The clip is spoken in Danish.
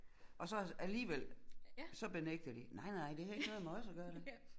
Og så alligevel så benægter de nej nej det havde ikke noget med os at gøre da